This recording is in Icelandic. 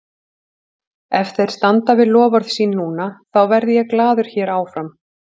Ef þeir standa við loforð sín núna, þá verð ég glaður hér áfram.